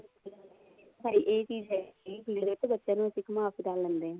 ਪਰ ਇਹ ਚੀਜ਼ ਹੈਗੀ ਬੱਚਿਆਂ ਨੂੰ ਇੱਥੇ ਹੀ ਘੁੰਮਾ ਫਿਰਾ ਲੈਂਦੇ ਏ